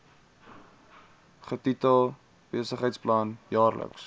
getitel besigheidsplan jaarlikse